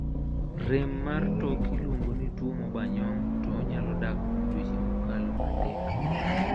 rem mar tok iluongo ni two ma oba nyong' to onyalo dak kuom dweche ma okalo adek